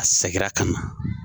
A sɛgira ka na.